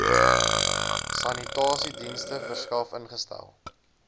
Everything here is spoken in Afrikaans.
sanitasiedienste verskaf ingestel